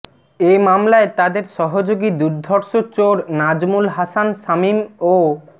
এ মামলায় তাদের সহযোগী দুর্ধর্ষ চোর নাজমুল হাসান শামীম ও মো